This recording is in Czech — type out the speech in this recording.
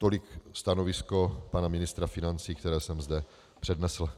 Tolik stanovisko pana ministra financí, které jsem zde přednesl.